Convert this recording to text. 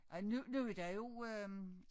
Ej nu nu derovre øh